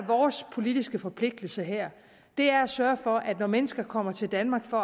vores politiske forpligtelse her er at sørge for at når mennesker kommer til danmark for